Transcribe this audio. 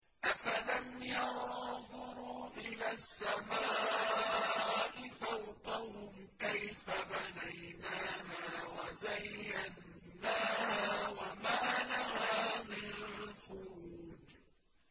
أَفَلَمْ يَنظُرُوا إِلَى السَّمَاءِ فَوْقَهُمْ كَيْفَ بَنَيْنَاهَا وَزَيَّنَّاهَا وَمَا لَهَا مِن فُرُوجٍ